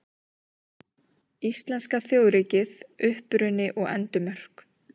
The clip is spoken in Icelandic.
Íslenska þjóðríkið: Uppruni og endimörk.